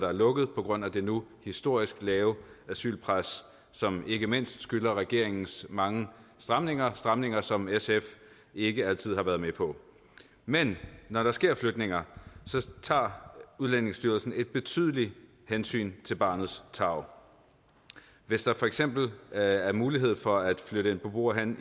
er lukket på grund af det nu historisk lave asylpres som ikke mindst skyldes regeringens mange stramninger stramninger som sf ikke altid har været med på men når der sker flytninger tager udlændingestyrelsen et betydeligt hensyn til barnets tarv hvis der for eksempel er er mulighed for at flytte en beboer hen